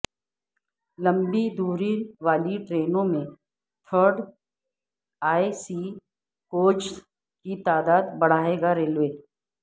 لمبی دوری والی ٹرینوں میں تھرڈ اے سی کوچز کی تعداد بڑھائے گا ریلوے